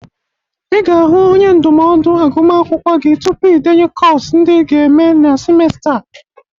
Ị ga-ahụ onye ndụmọdụ agụmakwụkwọ gi tupu ị denye kọs ndị ị ga-eme na simesta a..